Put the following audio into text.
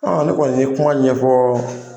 ne kɔni ye kuma ɲɛfɔ